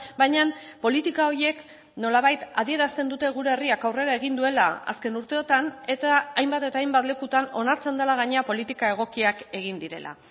baina politika horiek nolabait adierazten dute gure herriak aurrera egin duela azken urteotan eta hainbat eta hainbat lekutan onartzen dela gainera politika egokiak egin direla